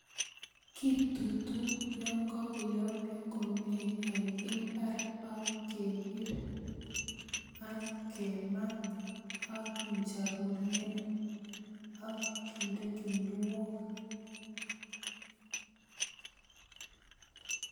Kitutuu Yoon kokoyomnyo komie en imbar ak kebir ak kemaa ak kinjorurien ak kinde kinuok.